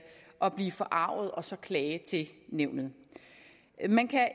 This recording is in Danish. og blive forarget og så klage til nævnet man kan